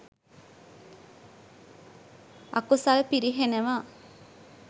අකුසල් පිරිහෙනවා.